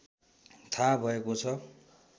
थाहा भएको छ